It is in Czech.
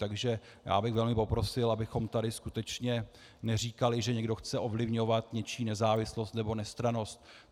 Takže já bych velmi poprosil, abychom tady skutečně neříkali, že někdo chce ovlivňovat něčí nezávislost nebo nestrannost.